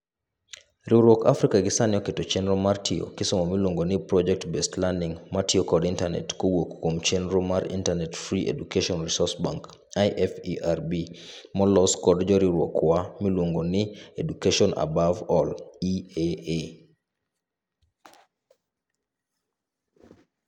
Riwruok Africa gisani oketo chenro mar tiyo kisomo miluongo ni Project Based Learning matiyo kod internate kowuok kuom chenro mar Internet Free Education Resuorce Bank [IFERB] molos kod joriwruok wa miluongo ni Education Above All[EAA].